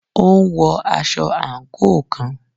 Ó ń wọ aṣọ àǹkóò kan.